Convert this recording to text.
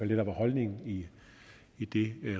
det der var holdningen i i det